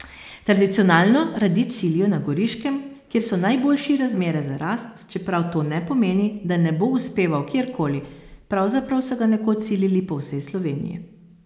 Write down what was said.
Tradicionalno radič silijo na Goriškem, kjer so najboljši razmere za rast, čeprav to ne pomeni, da ne bo uspeval kjer koli, pravzaprav so ga nekoč silili po vsej Sloveniji.